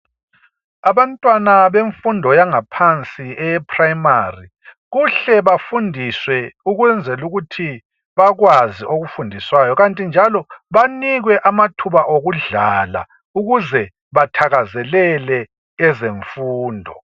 Abantwana benfundo yaphansi eyeprimary kuhle bafundiswe ukwenzelukuthi bakwazi okufundiswayo .Kanti njalo banikwe amathuba okudlala ukuze bathakazelele ezemfundo.